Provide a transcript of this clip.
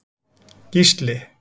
Gísli